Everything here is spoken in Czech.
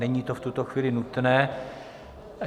Není to v tuto chvíli nutné.